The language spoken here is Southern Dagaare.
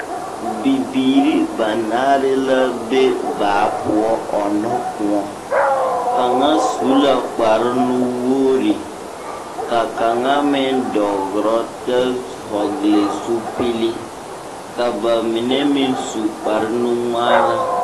Bibiiri banaare la be baa boɔ ɔnnɔ kõɔ. Kaŋa su la kparenuwoori, ka kaŋa meŋ dɔgrɔ tɛ hɔgle zupili. Ka ba mine meŋ su kparenu-ŋmaara.